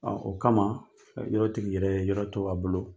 Ɔɔ o kama yɔrɔ tigi yɛrɛ ye yɔrɔ to a bolo.